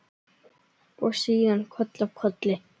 Og síðan koll af kolli.